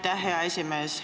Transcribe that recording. Aitäh, hea esimees!